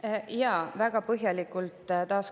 Taas: komisjonis seda väga põhjalikult ei arutatud.